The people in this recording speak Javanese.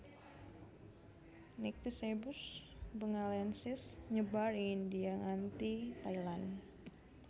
Nycticebus bengalensis nyebar ing India nganti Thailand